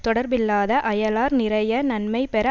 தொடர்பில்லாத அயலார் நிறைய நன்மை பெற